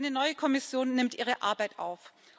Eine neue Kommission nimmt ihre Arbeit auf.